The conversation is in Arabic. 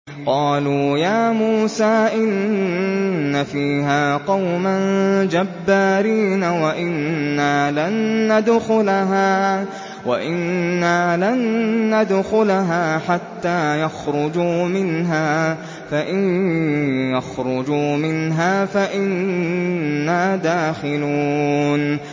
قَالُوا يَا مُوسَىٰ إِنَّ فِيهَا قَوْمًا جَبَّارِينَ وَإِنَّا لَن نَّدْخُلَهَا حَتَّىٰ يَخْرُجُوا مِنْهَا فَإِن يَخْرُجُوا مِنْهَا فَإِنَّا دَاخِلُونَ